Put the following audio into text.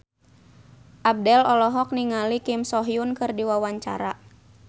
Abdel olohok ningali Kim So Hyun keur diwawancara